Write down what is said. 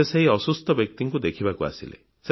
ସେ ସେହି ଅସୁସ୍ଥ ବ୍ୟକ୍ତିଙ୍କୁ ଦେଖିବାକୁ ଆସିଲେ